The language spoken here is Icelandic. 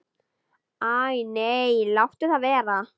Æ nei, láttu það vera.